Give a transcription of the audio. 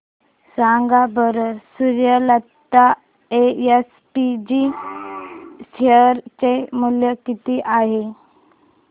सांगा बरं Suryalata SPG share चे मूल्य किती आहे